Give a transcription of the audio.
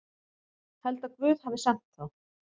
Held að Guð hafi sent þá.